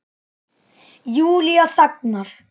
Júlía þagnar.